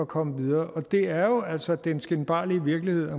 komme videre det er jo altså den skinbarlige virkelighed